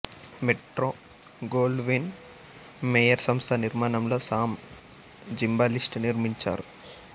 Metro Goldwyn Mayer సంస్థ నిర్మాణంలొ Sam Zimbalist నిర్మించారు